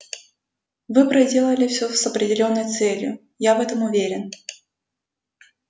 вы проделали все с определённой целью я в этом уверен